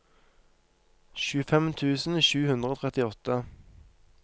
tjuefem tusen sju hundre og trettiåtte